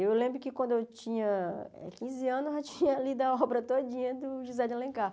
Eu lembro que quando eu tinha quinze anos, eu já tinha lido a obra todinha do José de Alencar.